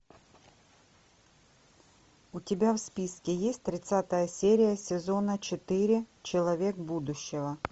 у тебя в списке есть тридцатая серия сезона четыре человек будущего